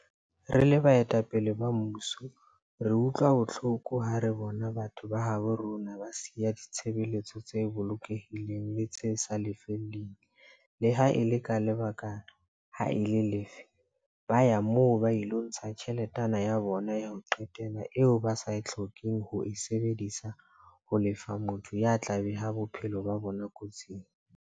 Re le baetapele ba mmuso re utlwa bohloko ha re bona batho ba habo rona ba siya ditshebeletso tse bolokehileng le tse sa lefellweng, le ha e le ka lebaka le ha e le lefe, ba ya moo ba ilo ntsha tjheletana ya bona ya ho qetela eo ba sa hlokeng ho e sebedisetsa ho lefa motho ya tla beha bophelo ba bona kotsing.